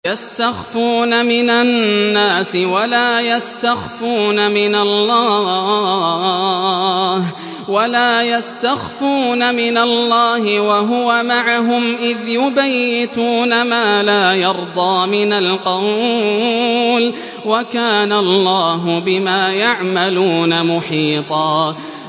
يَسْتَخْفُونَ مِنَ النَّاسِ وَلَا يَسْتَخْفُونَ مِنَ اللَّهِ وَهُوَ مَعَهُمْ إِذْ يُبَيِّتُونَ مَا لَا يَرْضَىٰ مِنَ الْقَوْلِ ۚ وَكَانَ اللَّهُ بِمَا يَعْمَلُونَ مُحِيطًا